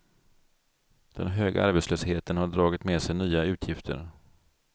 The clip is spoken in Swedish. Den höga arbetslösheten har dragit med sig nya utgifter.